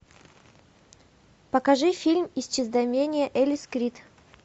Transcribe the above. покажи фильм исчезновение элис крид